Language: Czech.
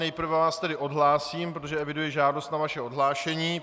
Nejprve vás tedy odhlásím, protože eviduji žádost na vaše odhlášení.